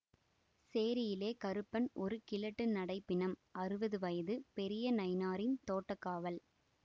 சேரியிலே கருப்பன் ஒரு கிழட்டு நடைப்பிணம் அறுபது வயது பெரிய நயினாரின் தோட்டக்காவல்